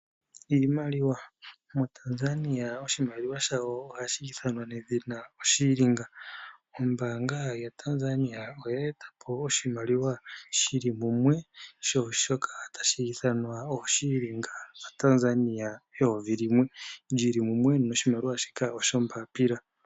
Iimaliwa. MoTanzania oshimaliwa shawo ohashi ithanwa oShilinga . Ombaanga yaTanzania oye e ta po oshimaliwa shi li mumwe shoka tashi ithanwa oShilinga shaTanzania eyovi limwe li li mumwe noshimaliwa shika oshoombaapila.